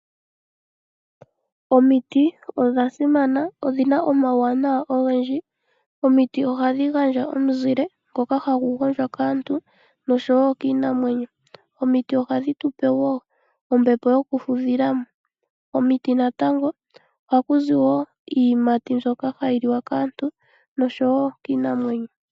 Omiti ondha simana ondhina omauwanawa ogendji. Omiti ohandhi gandja omuzile ngoka hagu gondjwa kaantu noshowo kiinamwenyo, omiti ohandhi tupe woo ombepo yoku fudhilamo. Komiti natango oha kuzi iiyimati mbyoka hayi liwa kaantu noshowo kiinamwenyo.